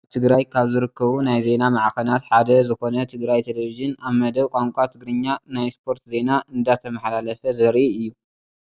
ኣብ ትግራይ ካብ ዝርከቡ ናይ ዜና ማዕኸናት ሓደ ዝኾነ ትግራይ ቴሌቪዥን ኣብ መደብ ቋንቋ ትግርኛ ናይ ስፖርት ዜና እንዳተማሓላለፈ ዘርኢ እዩ፡፡